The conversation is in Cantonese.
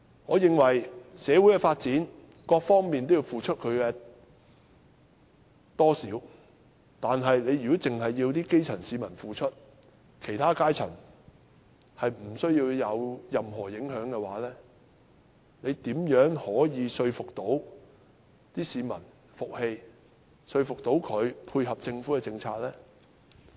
我認為為了社會的發展，各方面或多或少也要付出，但如果只要求基層市民付出，其他階層卻不受任何影響的話，如何可令市民服氣，說服他們配合政府政策？